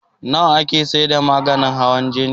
Nawa ake saida maganin hawan jini?